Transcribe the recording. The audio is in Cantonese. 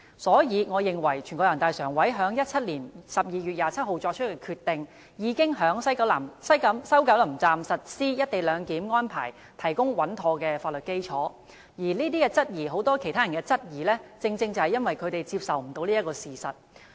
因此，我認為人大常委會在2017年12月27日作出的決定，已為在西九龍站實施"一地兩檢"安排提供穩妥的法律基礎，很多人對"一地兩檢"安排提出質疑，正是因為他們未能接受這個事實。